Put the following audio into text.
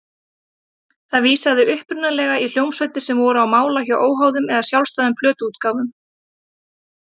Það vísaði upprunalega í hljómsveitir sem voru á mála hjá óháðum eða sjálfstæðum plötuútgáfum.